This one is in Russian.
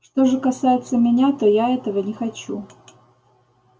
что же касается меня то я этого не хочу